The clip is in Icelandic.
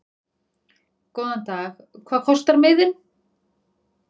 Góðan dag. Hvað kostar miðinn?